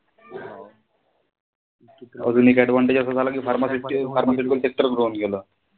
अजून एक advantage असा झाला कि pharmaceutical sector सुरु होऊन गेलं.